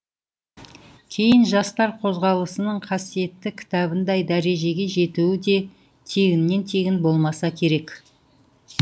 кейін жастар қозғалысының қасиетті кітабындай дәрежеге жетуі де тегіннен тегін болмаса керек